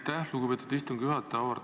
Aitäh, lugupeetud istungi juhataja!